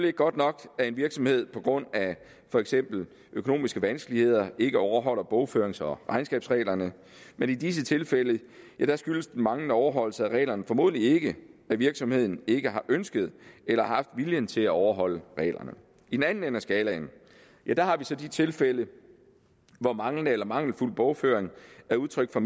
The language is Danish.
ikke godt nok at en virksomhed på grund af for eksempel økonomiske vanskeligheder ikke overholder bogførings og regnskabsreglerne men i de tilfælde skyldes den manglende overholdelse af reglerne formodentlig ikke at virksomheden ikke har ønsket eller haft viljen til at overholde reglerne i den anden ende af skalaen har vi så de tilfælde hvor manglende eller mangelfuld bogføring er udtryk for